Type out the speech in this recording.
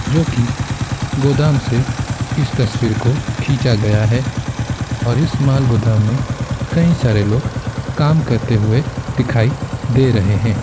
जो कि गोदाम से इस तस्वीर को खींचा गया है और इस माल गोदाम में कई सारे लोग काम करते हुए लोग दिखाई दे रहे हैं।